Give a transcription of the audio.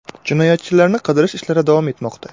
Jinoyatchilarni qidirish ishlari davom etmoqda.